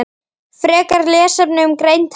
Frekari lesefni um greind hrafna